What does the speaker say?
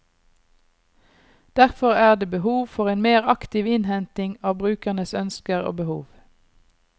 Derfor er det behov for en mer aktiv innhenting av brukernes ønsker og behov.